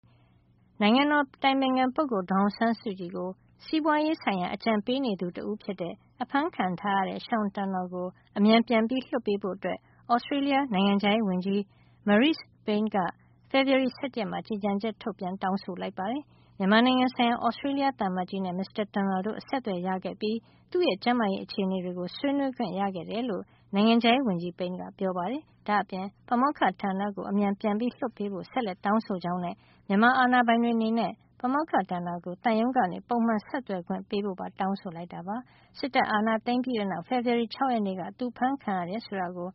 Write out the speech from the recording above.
နိုင်ငံတော်အတိုင်ပင်ခံ ဒေါ်အောင်ဆန်းစုကြည်ကို စီးပွားရေးဆိုင်ရာ အကြံပေးနေသူ တဦးဖြစ်တဲ့ အဖမ်းခံထားရတဲ့ Sean Turnell ကို အမြန်ပြန်လွှတ်ပေးဖို့ Australia နိုင်ငံခြားရေးဝန်ကြီး Marise Payne က ဖေဖေါ်ဝါရီလ ၁၁ ရက်နေ့မှာ ကြေညာချက်ထုတ်ပြန်ပြီး ထပ်မံတောင်းဆိုလိုက်ပါတယ်။ မြန်မာနိုင်ငံဆိုင်ရာ Australia သံအမတ်ကြီးနဲ့ Mr. Turnell တို့ အဆက်အသွယ်ရခဲ့ပြီး သူ့ရဲ့ ကျန်းမာရေးနဲ့ အခြေအနေတွေကို ဆွေးနွေးခွင့်ရခဲ့တယ်လို့ နိုင်ငံခြားရေးဝန်ကြီး Payne က ပြောပါတယ်။ ဒါ့အပြင် ပါမောက္ခ Turnell ကို အမြန်ပြန်လွှတ်ပေးဖို့ ဆက်လက်ဆောင်းဆိုကြောင်း နဲ့ မြန်မာအာဏာပိုင်တွေ အနေနဲ့ ပါမောက္ခ Turnell ကို သံရုံးက ပုံမှန်ဆက်သွယ်ခွင့်ပေးဖို့ပါ တောင်းဆိုလိုက်တာပါ။ စစ်တပ်က အာဏာသိမ်းခဲ့ပြီးနောက် ဖေဖော်ဝါရီလ ၆ ရက်နေ့က သူအဖမ်းခံထားရတယ်ဆိုတာကိ